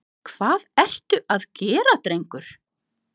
Hvað ertu að gera drengur?